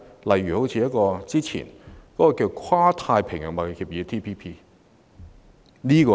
為何不選擇早前的《跨太平洋夥伴關係協定》？